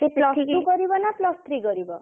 ସିଏ plus two କରିବ ନା plus three କରିବ?